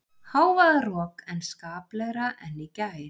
Hávaðarok en skaplegra en í gær